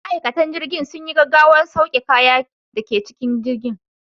Ma'aikatan jirgin sun yi gaggawar sauke kayan da ke cikin jirgin.